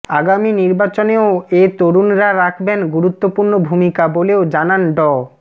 আগামী নির্বাচনেও এ তরুণরা রাখবেন গুরুত্বপূর্ণ ভূমিকা বলেও জানান ড